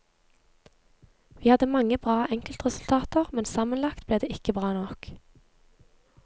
Vi hadde mange bra enkeltresultater, men sammenlagt ble det ikke bra nok.